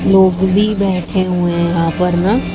लोग भी बैठे हुए यहां पर ना--